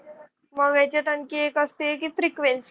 मग त्याच्यात आणखी एक असते की frequency